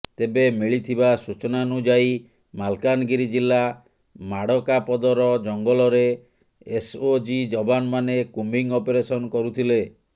ତେବେ ମିଳିଥିବା ସୂଚନାନୁଯାୟୀ ମାଲକାନଗିରି ଜିଲ୍ଲା ମାଡ଼କାପଦର ଜଙ୍ଗଲରେ ଏସ୍ଓଜି ଯବାନମାନେ କୁମ୍ବିଂ ଅପରେନସନ କରୁଥିଲେ